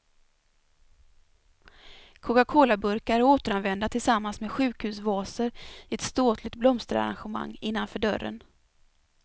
Cocacolaburkar är återanvända tillsammans med sjukhusvaser i ett ståtligt blomsterarrangemang innanför dörren.